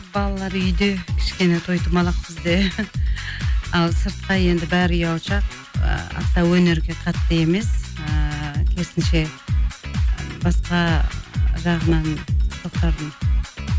балалар үйде кішкене той томалақ бізде ал сыртқа енді бәрі ұялшақ ы аса өнерге қатты емес ыыы керісінше басқа жағынан тоқтардың